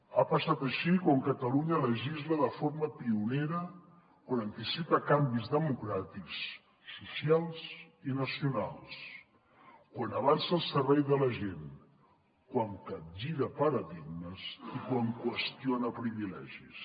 ha passat així quan catalunya legisla de forma pionera quan anticipa canvis democràtics socials i nacionals quan avança al servei de la gent quan capgira paradigmes i quan qüestiona privilegis